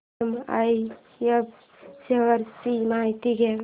MRF shares ची माहिती द्या